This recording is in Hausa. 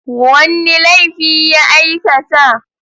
Wanne laifi ya aika ta?